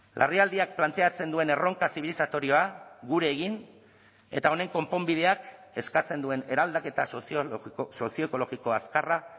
larrialdiak planteatzen duen erronka zibilizatorioa gure egin eta honen konponbideak eskatzen duen eraldaketa sozio ekologiko azkarra